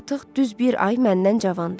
Artıq düz bir ay məndən cavandır.